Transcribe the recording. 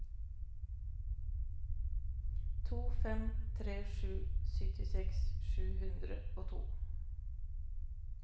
to fem tre sju syttiseks sju hundre og to